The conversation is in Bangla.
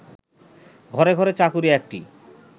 ঘরে ঘরে চাকুরী একটি